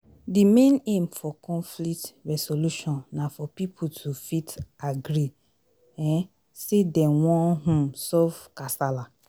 di main aim for conflict resolution na for pipo to fit agree um sey dem wan um solve kasala